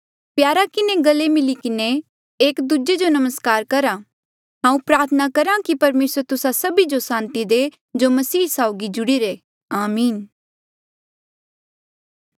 प्यारा किन्हें गले मिली किन्हें एक दूजे जो नमस्कार करा हांऊँ प्रार्थना करहा की परमेसर तुस्सा सभी जो सांति दे जो मसीह साउगी जुड़ीरे आमीन